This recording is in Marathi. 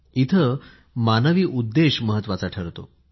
इथे मानवी उद्देश महत्वाचा ठरतो